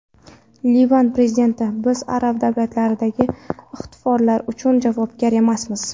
Livan prezidenti: Biz arab davlatlaridagi ixtiloflar uchun javobgar emasmiz.